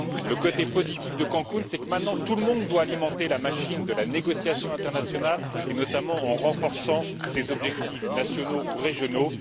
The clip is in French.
Le côté positif de Cancún c'est que, maintenant, tout le monde doit alimenter la machine de la négociation internationale et, notamment, en renforçant ses objectifs nationaux ou régionaux.